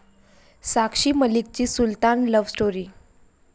साक्षी मलिकची 'Sultan' love story